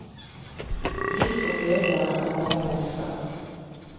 Lytt og gled dere over en mester.